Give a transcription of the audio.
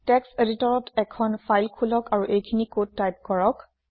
text এদিটৰত এখন file খোলক আৰু এইখিনি কোড টাইপ কৰক